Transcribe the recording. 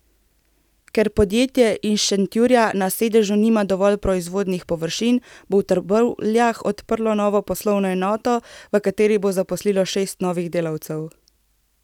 Ker podjetje iz Šentjurja na sedežu nima dovolj proizvodnih površin, bo v Trbovljah odprlo novo poslovno enoto, v kateri bo zaposlilo šest novih delavcev.